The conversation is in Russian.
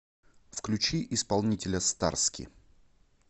включи исполнителя старски